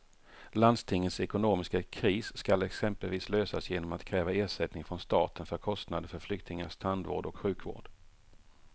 Landstingets ekonomiska kris ska exempelvis lösas genom att kräva ersättning från staten för kostnader för flyktingars tandvård och sjukvård.